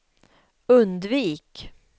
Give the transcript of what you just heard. undvik